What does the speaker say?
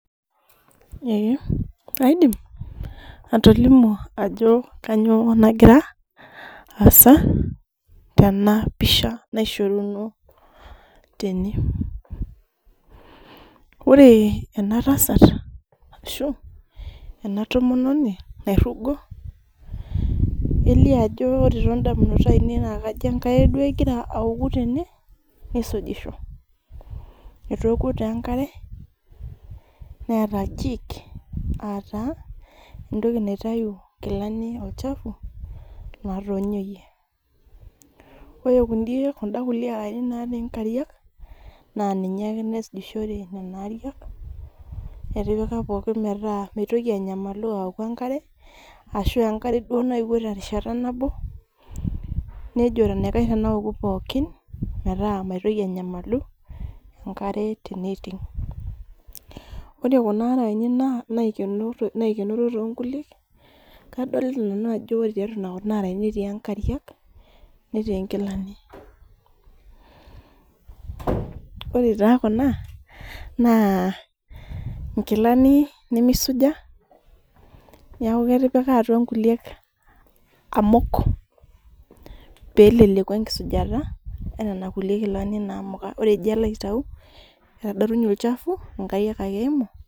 Ee kaidim atolimu ajo kanyioo nagira, aasa tenapisha naishoruno tene. Ore enatasat ashu ena tomononi nairrugo, elio ajo ore todamunot ainei na kajo enkare duo egira aoku tene, nisujisho. Etookuo duo enkare, neeta jik, ataa entoki naitau intokiting olchafu, natonyoyie. Ore kunda kulie araeni natii nkariak, na ninye ake naisujishore nenaa ariak, etipika pookin metaa mitoki anyamalu aoku enkare, ashu enkare duo naewuo duo terishata nabo, nejo enaikash tenaoku pookin, metaa maitoki anyamalu enkare teneiting'. Ore kuna araeni naikenoro tonkulie, kadolita nanu ajo ore tiatua kuna araeni etii nkariak, netii nkilani. Ore taa kuna, naa inkilani nimisuja, neeku ketipika atua nkulie amuk peleleku enkisujta, nena kulie kilani namuka. Ore ijo alo aitau, etadotunye olchafu, inkariak ake eimu.